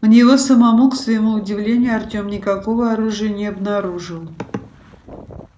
у него самого к своему удивлению артём никакого оружия не обнаружил